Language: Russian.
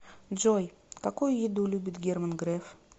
джой какую еду любит герман греф